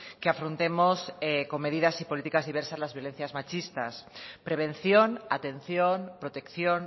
que afrontemos con medidas y políticas diversas las violencias machistas prevención atención protección